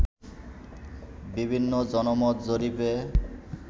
বিভিন্ন জনমত জরিপে